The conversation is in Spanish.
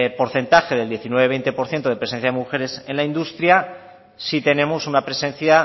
porcentaje del diecinueve coma veinte por ciento de presencia de mujeres en la industria si tenemos una presencia